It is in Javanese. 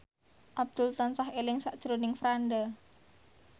Abdul tansah eling sakjroning Franda